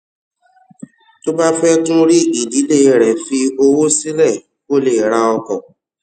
tó o bá fé tún rí ìdílé rẹ fi owó sílè kó o lè ra ọkò